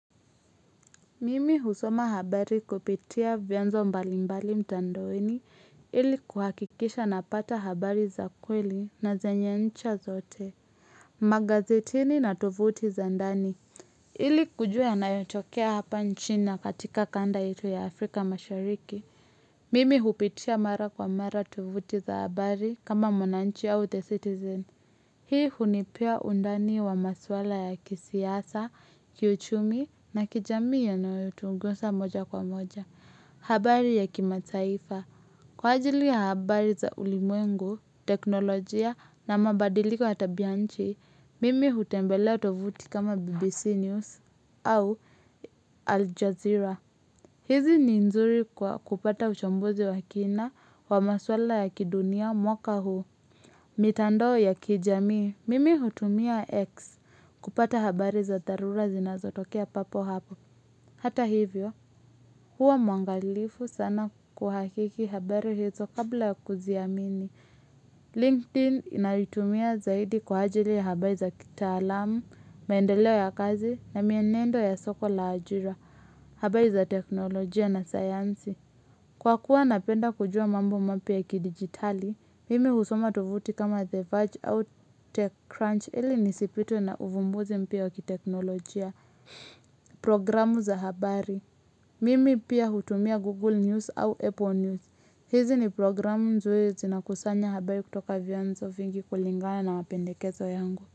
Mimi husoma habari kupitia vianzo mbalimbali mtandaoni ili kuhakikisha napata habari za kweli na zenye ncha zote. Magazetini na tovuti za ndani ili kujua yanayotokea hapa nchini na katika kanda yetu ya Afrika mashariki. Mimi hupitia mara kwa mara tovuti za habari kama mwananchi au the citizen. Hii hunipea undani wa maswala ya kisiasa, kiuchumi na kijamii yanayo tugusa moja kwa moja. Habari ya kimataifa. Kwa ajili ya habari za ulimwengu, teknolojia na mabadiliko ya tabianchi, mimi hutembelea tovuti kama BBC News au Al Jazeera. Hizi ni nzuri kwa kupata uchambuzi wa kina wa maswala ya kidunia mwaka huu. Mitandao ya kijamii, mimi hutumia X kupata habari za dharura zinazotokea papo hapa. Hata hivyo, huwa mwangalifu sana kuhakiki habari hizo kabla ya kuziamini. LinkedIn naitumia zaidi kwa ajili ya habari za kitaalamu, maendeleo ya kazi na mienendo ya soko la ajira, habari za teknolojia na sayansi. Kwa kuwa napenda kujua mambo mapya ya kidigitali, mimi husoma tovuti kama The Verge au TechCrunch ili nisipitwe na uvumbuzi mpya wa kiteknolojia. Programu za habari, mimi pia hutumia Google News au Apple News. Hizi ni programu nzuri zina kusanya habari kutoka vianzo vingi kulingana na mapendekezo yangu.